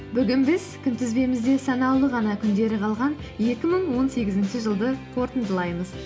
бүгін біз күнтізбемізде санаулы ғана күндері қалған екі мың он сегізінші жылды қорытындылаймыз